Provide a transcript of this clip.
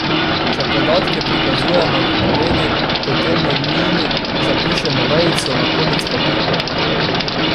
Če podatke prikazujemo v povedi, potem med njimi zapišemo vejico, na konec pa piko.